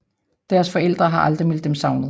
Deres forældre har aldrig meldt dem savnet